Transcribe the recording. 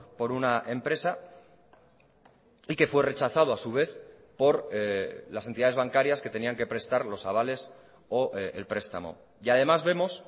por una empresa y que fue rechazado a su vez por las entidades bancarias que tenían que prestar los avales o el prestamo y además vemos